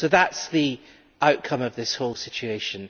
So that is the outcome of this whole situation.